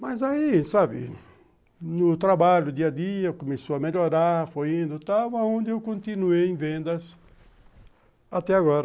Mas aí, sabe, no trabalho, dia a dia, começou a melhorar, foi indo e tal, onde eu continuei em vendas até agora.